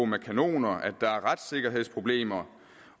med kanoner at der er retssikkerhedsproblemer